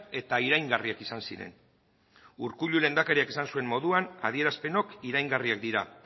eta iraingarriak izan ziren urkullu lehendakariak esan zuen moduan adierazpenok iraingarriak dira